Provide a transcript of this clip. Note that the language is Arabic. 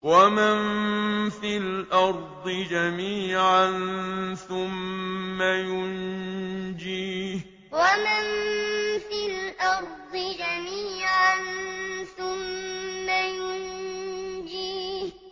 وَمَن فِي الْأَرْضِ جَمِيعًا ثُمَّ يُنجِيهِ وَمَن فِي الْأَرْضِ جَمِيعًا ثُمَّ يُنجِيهِ